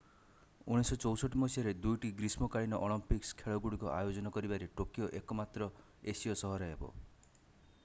1964 ମସିହାରେ 2ଟି ଗ୍ରୀଷ୍ମକାଳୀନ ଅଲମ୍ପିକ୍ସ ଖେଳଗୁଡିକ ଆୟୋଜନ କରିବାରେ ଟୋକିଓ ଏକମାତ୍ର ଏସୀୟ ସହର ହେବ